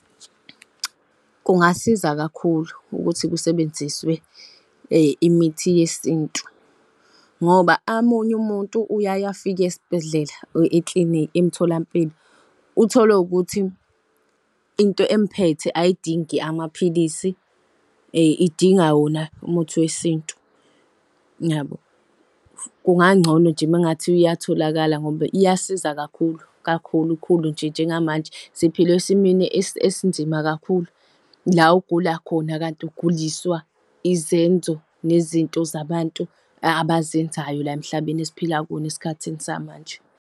Kungasiza kakhulu ukuthi kusebenziswe imithi yesintu ngoba umuntu uyaye afike esbhedlela or eklinikhi emtholampilo uthole ukuthi into emphethe ayidingi amaphilisi idinga wona umuthi wesintu yabo. Kungangcono nje uma kungathiwa iyatholakala ngoba iyasiza kakhulu, kakhulu khulu nje njengamanje siphila esimeni esinzima kakhulu la ugula khona kanti uguliswa izenzo nezinto zabantu abazenzayo la emhlabeni esiphila kuwona esikhathini samanje.